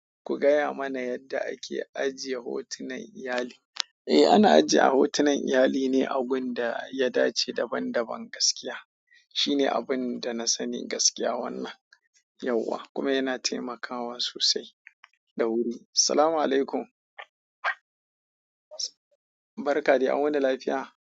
Ku gaya mana yadda ake ajiye hotunan iyali. Eh, ana ajiye hotunan iyali ne agun da ya dace daban-daban gaskiya. Shine abun da na sani gaskiya wannan yauwa kuma yana taimakawa sosai da wuri. Assalamualaikum. Barka de an wuni lafiya?